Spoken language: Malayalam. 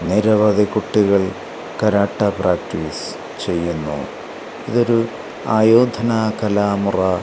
നിരവധി കുട്ടികൾ കാരാട്ട പ്രാക്ടീസ് ചെയ്യുന്നു ഇതൊരു ആയോധന കലാമുറ--